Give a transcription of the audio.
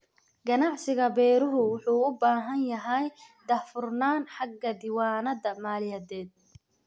Ganacsiga beeruhu wuxuu u baahan yahay daahfurnaan xagga diiwaannada maaliyadeed.